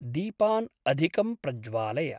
दीपान् अधिकं प्रज्वालय।